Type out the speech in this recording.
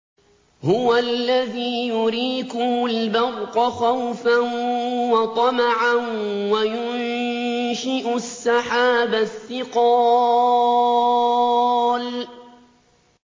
هُوَ الَّذِي يُرِيكُمُ الْبَرْقَ خَوْفًا وَطَمَعًا وَيُنشِئُ السَّحَابَ الثِّقَالَ